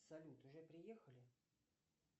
салют уже приехали